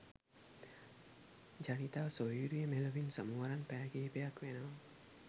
ජනිතා සොහොයුරිය මෙලොවින් සමු අරන් පැය කිහිපයක් වෙනවා